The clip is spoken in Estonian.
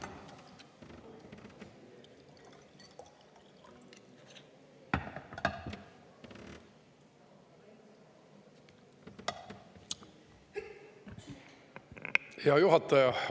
Hea juhataja!